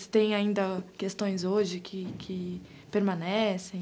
Se tem ainda questões hoje que, que permanecem?